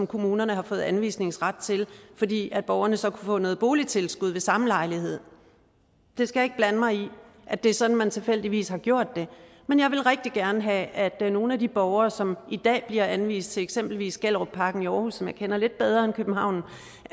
kommunerne har fået anvisningsret til fordi borgerne så kunne få noget boligtilskud ved samme lejlighed jeg skal ikke blande mig i at det er sådan man tilfældigvis har gjort det men jeg vil rigtig gerne have at nogle af de borgere som i dag bliver anvist til eksempelvis gellerupparken i aarhus som jeg kender lidt bedre end københavn